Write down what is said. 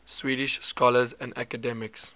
swedish scholars and academics